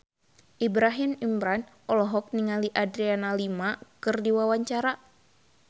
Ibrahim Imran olohok ningali Adriana Lima keur diwawancara